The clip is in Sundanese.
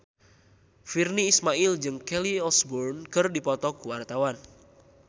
Virnie Ismail jeung Kelly Osbourne keur dipoto ku wartawan